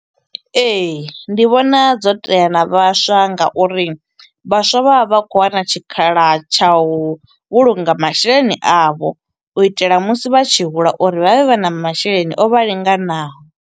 Ee, ndi vhona dzo tea na vhaswa nga uri vhaswa vha vha vha khou wana tshikhala tsha u vhulunga masheleni avho. U itela musi vha tshi hula uri vha vhe vha na masheleni o vha linganaho.